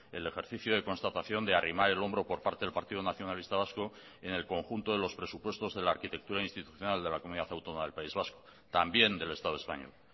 el ejercicio de constatación de arrimar el hombro por parte del partido nacionalista vasco en el conjunto de los presupuestos de la arquitectura institucional de la comunidad autónoma del país vasco también del estado español